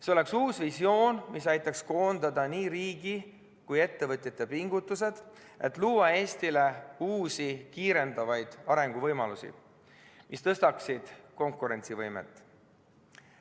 See oleks uus visioon, mis aitaks koondada nii riigi kui ettevõtjate pingutused, et luua Eestile uusi kiirendavaid arenguvõimalusi, mis tõstaksid konkurentsivõimet.